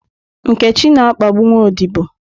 Nkechi na-akpagbu nwa odibo